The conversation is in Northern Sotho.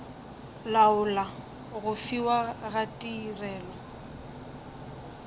laola go fiwa ga tirelo